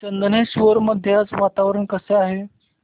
चंदनेश्वर मध्ये आज वातावरण कसे आहे